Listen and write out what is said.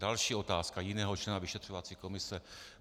Další otázka jiného člena vyšetřovací komise.